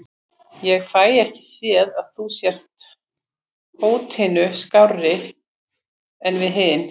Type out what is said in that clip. Ég fæ ekki séð að þú sért hótinu skárri en við hinir.